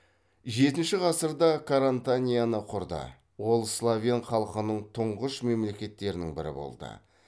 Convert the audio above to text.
жетінші ғасырда карантанияны құрды ол словен халқының тұңғыш мемлекеттерінің бірі болды